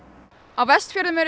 á Vestfjörðum eru